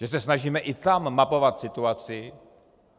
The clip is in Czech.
Že se snažíme i tam mapovat situaci.